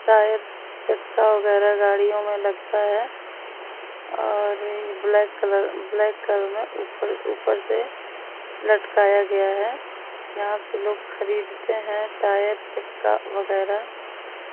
Tyre चक्का वगैरा गाड़ियों में लगता है और ब्लैक कलर ब्लैक कलर में ऊपर-ऊपर से लटकाया गया है यहां से लोग खरीदते हैं टायर चक्का वगैरा।